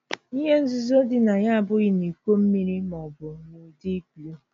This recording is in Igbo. Ihe nzuzo dị na ya abụghị na iko mmiri ma ọ bụ n'ụdị gluu.